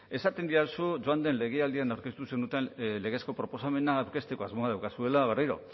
esaten didazu joan den legealdian aurkeztu zenuten legezko proposamena aurkezteko asmoa daukazuela berriro